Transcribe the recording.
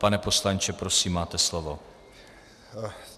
Pane poslanče, prosím, máte slovo.